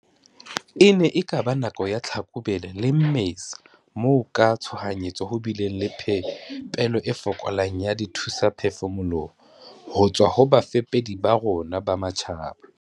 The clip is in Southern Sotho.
E ne e ka ba nakong ya Tlhakubele le Mmesa moo ka tshohanyetso ho bileng le phepelo e fokolang ya dithusaphefumoloho ho tswa ho bafepedi ba rona ba matjhaba.